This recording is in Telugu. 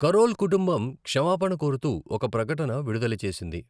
కరోల్ కుటుంబం క్షమాపణ కోరుతూ ఒక ప్రకటన విడుదల చేసింది.